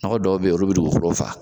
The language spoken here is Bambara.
Nɔgɔ dɔw bɛ yen olu bɛ dugukolo faga